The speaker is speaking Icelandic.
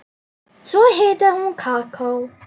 Svo hitaði hún kakó.